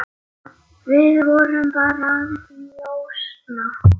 Við vorum bara að njósna,